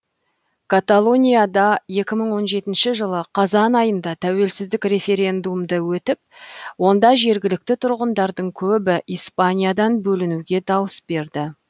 каталонияда екі мың он жетінші жылы қазай айында тәуелсіздік референдумы өтіп онда жергілікті тұрғындардың көбі испаниядан бөлінуге дауыс берді